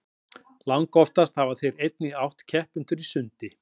langoftast hafa þeir einnig átt keppendur í sundi